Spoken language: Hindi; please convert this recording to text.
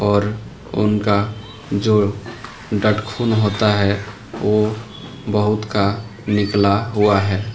और उनका जो डटखुन होता है वो बहुत का निकला हुआ है।